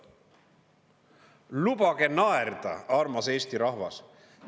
Lubage naerda, armas Eesti rahvas!